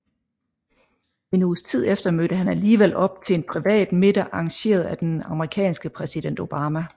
En uges tid efter mødte han alligevel op til en privat middag arrangeret af den amerikanske præsident Obama